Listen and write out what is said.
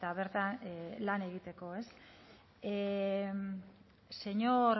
bertan lan egiteko señor